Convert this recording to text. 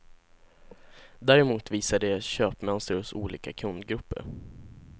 Däremot visar de köpmönster hos olika kundgrupper.